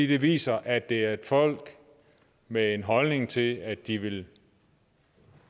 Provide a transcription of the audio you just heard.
det viser at det er et folk med en holdning til at de vil